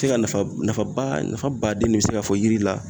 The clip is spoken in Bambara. Se ka nafa nafaba nafa baden de be se ka fɔ yiri la